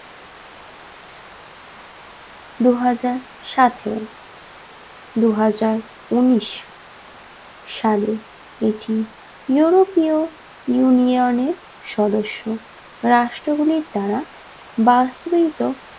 দুহাজার সতেরো দুজাজার উনিশ সালে এটি european union এর সদস্য রাষ্ট্র গুলির দ্বারা বাস্তবায়িত